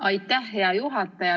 Aitäh, hea juhataja!